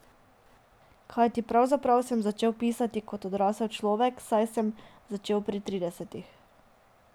Kajti pravzaprav sem začel pisati kot odrasel človek, saj sem začel pri tridesetih.